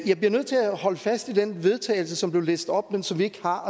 jeg bliver nødt til at holde fast i den vedtagelse som blev læst op men som vi ikke har